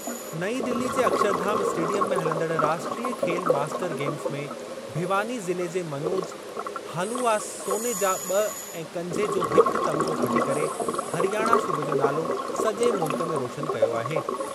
नईं दिल्ली जे अक्षरधाम स्टेडियम में हलंदड़ राष्ट्रीय खेल मास्टर गेम्स में भिवानी ज़िले जे मनोज हांलुवास सोने जा ॿ ऐं कंझे जो हिक तमिग़ो खटी करे हरियाणा सूबे जो नालो सजे॒ मुल्क में रोशन कयो आहे।